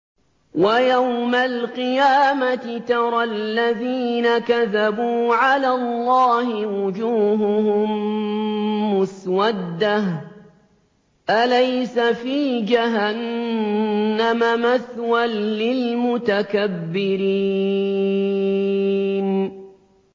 وَيَوْمَ الْقِيَامَةِ تَرَى الَّذِينَ كَذَبُوا عَلَى اللَّهِ وُجُوهُهُم مُّسْوَدَّةٌ ۚ أَلَيْسَ فِي جَهَنَّمَ مَثْوًى لِّلْمُتَكَبِّرِينَ